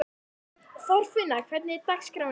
Þorfinna, hvernig er dagskráin í dag?